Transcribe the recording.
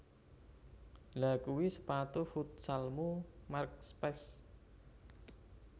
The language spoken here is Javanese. Lha kui sepatu futsalmu merk Specs